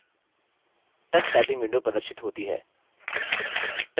tux typing window प्रदर्शित होती है